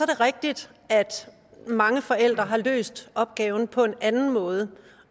det rigtigt at mange forældre har løst opgaven på en anden måde